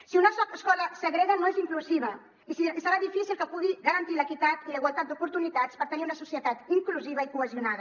si una escola segrega no és inclusiva i serà difícil que pugui garantir l’equitat i la igualtat d’oportunitats per tenir una societat inclusiva i cohesionada